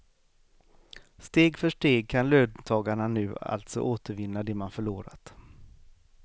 Steg för steg kan löntagarna nu alltså återvinna det man förlorat.